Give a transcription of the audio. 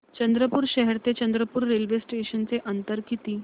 चंद्रपूर शहर ते चंद्रपुर रेल्वे स्टेशनचं अंतर किती